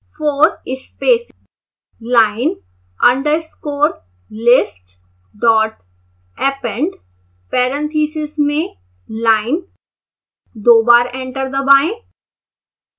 four space line underscore list dot append parentheses में line